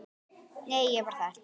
Nei, ég var þar